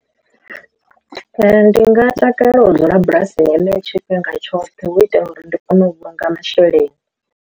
Ndi nga takalela u dzula bulasi heneyo tshifhinga tshoṱhe hu itela uri ndi kone u vhulunga masheleni.